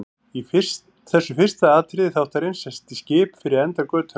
Í þessu fyrsta atriði þáttarins sést í skip fyrir enda götunnar.